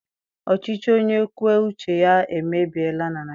Ọchịchị onye kwue uche ya emebiela na Naịjirịa.